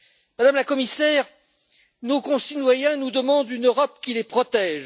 Madame la Commissaire, nos concitoyens nous demandent une Europe qui les protège.